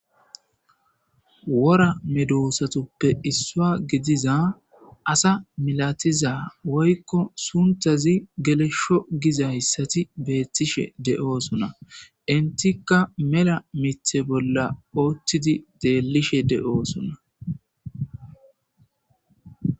Wora medosatuppe isuwa gidiza asa malatiza woyko sunthaz gelesho gizatsat betishe de'osona. Intika mela Mitha bolla utid xelishe de'osona.